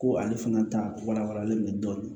Ko ale fana ta walawalalen don